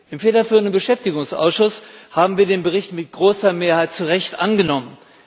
Im federführenden Beschäftigungsausschuss haben wir den Bericht mit großer Mehrheit zu Recht angenommen.